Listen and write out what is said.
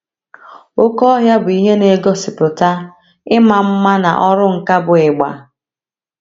Oké ọhịa bụ ihe na - egosipụta ịma mma mma na ọrụ nkà bụ́ ịgba.